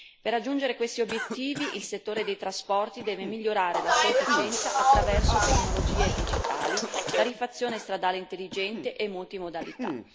Per raggiungere questi obiettivi, il settore dei trasporti deve migliorare la sua efficienza attraverso tecnologie digitali, tariffazione stradale intelligente e multimodalità.